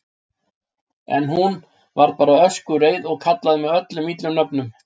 En hún. varð bara öskureið og kallaði mig öllum illum nöfnum.